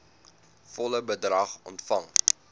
volle bedrag ontvang